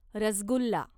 rasgulla